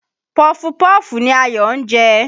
Pọfupọ́ọ̀fù ni Ayọ̀ ń jẹ